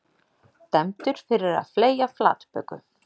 Dæmdur fyrir að fleygja flatböku